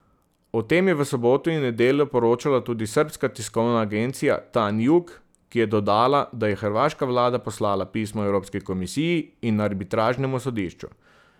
O tem je v soboto in nedeljo poročala tudi srbska tiskovna agencija Tanjug, ki je dodala, da je hrvaška vlada poslala pismo Evropski komisiji in arbitražnemu sodišču.